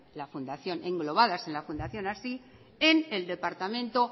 englobadas en la fundación hazi en el departamento